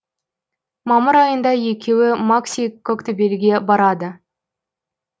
мамыр айында екеуі макси коктебелге барады